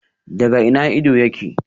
Daga ina ido yake?